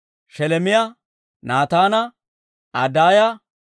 Sheleemiyaa, Naataana, Adaaya,